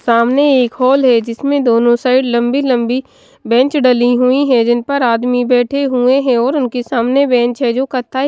सामने एक हॉल है। जिसमें दोनों साइड लंबी-लंबी बेंच डाली हुई है। जिन पर आदमी बैठे हुए हैं और उनके सामने बेंच है जो कथा--